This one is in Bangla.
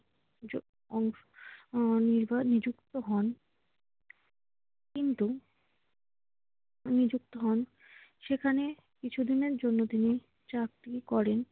যোগ উম আহ নিবা নিযুক্ত হন। কিন্তু নিযুক্ত হন। সেখানে কিছুদিনের জন্য তিনি চাকরি করেন।